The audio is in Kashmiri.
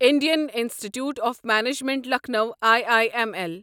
Indian institute of management Lucknow I I M L